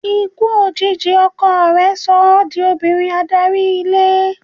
Ikú òjijì ọkọ rẹ̀ so ọ́ di obìnrin adarí ilé.